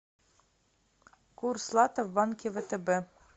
курс лата в банке втб